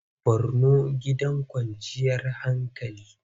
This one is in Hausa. Borno gidan kwanciyar hankali.